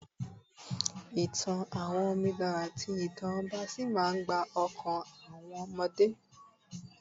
ìtàn àwọn onidan ati ìtàn ọba sí ma n gba okan àwọn omode